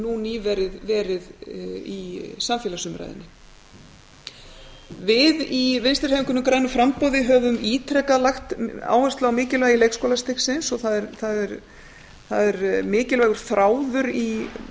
nú nýverið verið í samfélagsumræðunni við í vinstri hreyfingunni grænu framboði höfum ítrekað lagt áherslu á mikilvægi leikskólastigsins og það er mikilvægur þráður í